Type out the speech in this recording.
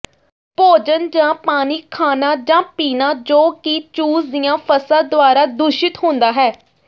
ਭੋਜਨ ਜਾਂ ਪਾਣੀ ਖਾਣਾ ਜਾਂ ਪੀਣਾ ਜੋ ਕਿ ਚੂਸ ਦੀਆਂ ਫਸਾਂ ਦੁਆਰਾ ਦੂਸ਼ਿਤ ਹੁੰਦਾ ਹੈ